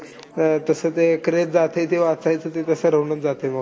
अं तसं ते craze जातंय, ते वाचायच ते तसं राहूनच जातंय बघ.